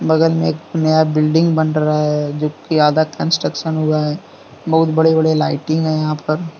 बगल में एक नया बिल्डिंग बन रहा है जोकि आधा कंस्ट्रक्शन हुआ है बहुत बड़े बड़े लाइटिंग हैं यहां पर।